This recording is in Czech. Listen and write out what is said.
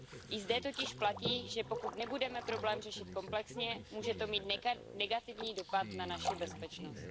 I zde totiž platí, že pokud nebudeme problém řešit komplexně, může to mít negativní dopad na naši bezpečnost.